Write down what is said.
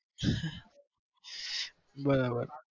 બરોબર